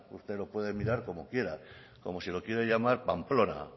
usted lo puede mirar como quiera como si lo quiere llamar pamplona